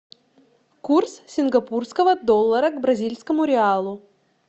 курс сингапурского доллара к бразильскому реалу